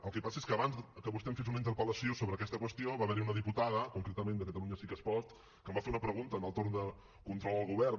el que passa és que abans que vostè em fes una interpel·lació sobre aquesta qüestió va haver hi una diputada concretament de catalunya sí que es pot que em va fer una pregunta en el torn de control al govern